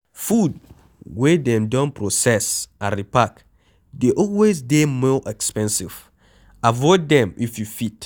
Food wey dem don proccess and repark dey always dey more expensive, avoid them if you fit